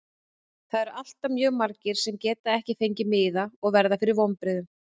Það eru alltaf mjög margir sem geta ekki fengið miða og verða fyrir vonbrigðum.